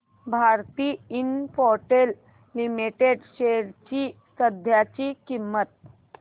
Bharti Infratel limited shares ची सध्याची किंमत